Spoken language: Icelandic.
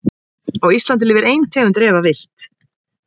Á Íslandi lifir ein tegund refa villt.